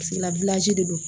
de do